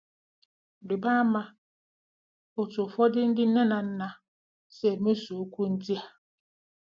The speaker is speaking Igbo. Riba ama otú ụfọdụ ndị nne na nna si mesoo okwu ndị a.